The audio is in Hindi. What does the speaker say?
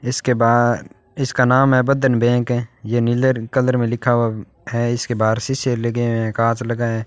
इसके ब इसका नाम बदन बैंक है ये नीले कलर में लिखा हुआ है इसके बाहर शीशे लगे हुए हैं कांच लगा है।